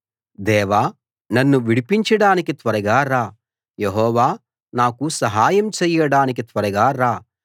దేవా నన్ను విడిపించడానికి త్వరగా రా యెహోవా నాకు సహాయం చేయడానికి త్వరగా రా